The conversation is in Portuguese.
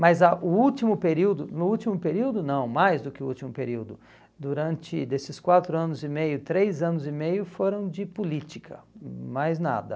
Mas a o último período, no último período não, mais do que o último período, durante desses quatro anos e meio, três anos e meio, foram de política, mais nada.